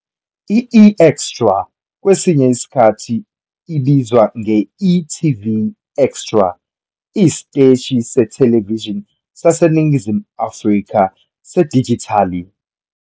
I-eExtra, kwesinye isikhathi ibizwa nge-e.tv Extra, iyisiteshi sethelevishini saseNingizimu Afrika sedijithali.